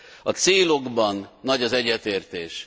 A célokban nagy az egyetértés.